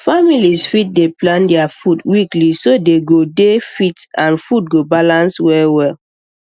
families fit dey plan their food weekly so dey go dey fit and food go balance well well